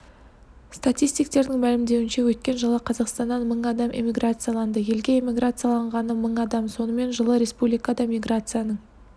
статистиктердің мәлімдеуінше өткен жылы қазақстаннан мың адам эммиграцияланды елге иммиграцияланғаны мың адам сонымен жылы республикада миграцияның